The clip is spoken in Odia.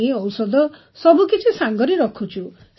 ପାଣି ଔଷଧ ସବୁ କିଛି ସାଙ୍ଗରେ ରଖୁଛୁ